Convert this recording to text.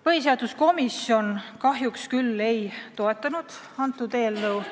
Põhiseaduskomisjon kahjuks ei toetanud eelnõu